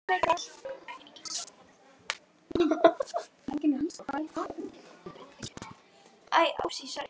Ég horfi á moldina undir nöglunum.